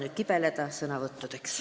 Kõik kibelevad juba sõna võtma.